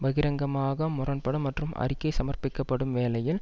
பகிரங்கமாக முரண் படும் மற்றும் அறிக்கை சமர்பிக்கப்படும் வேளையில்